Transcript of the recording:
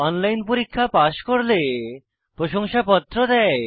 online পরীক্ষা pass করলে প্রশংসাপত্র দেয়